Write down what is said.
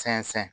Sɛnsɛn